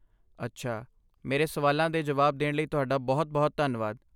ਅੱਛਾ. ਮੇਰੇ ਸਵਾਲਾਂ ਦੇ ਜਵਾਬ ਦੇਣ ਲਈ ਤੁਹਾਡਾ ਬਹੁਤ ਬਹੁਤ ਧੰਨਵਾਦ।